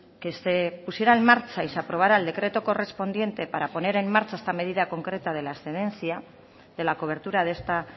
que se pusiera en marcha y se aprobara el decreto correspondiente para poner en marcha esta medida concreta de la excedencia de la cobertura de esta